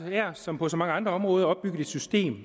her som på så mange andre områder opbygget et system